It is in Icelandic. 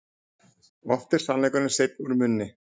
Oft er sannleikurinn seinn úr munni.